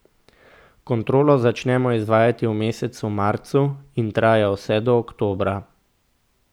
Kontrolo začnemo izvajati v mesecu marcu in traja vse do oktobra.